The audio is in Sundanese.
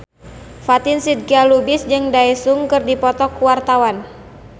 Fatin Shidqia Lubis jeung Daesung keur dipoto ku wartawan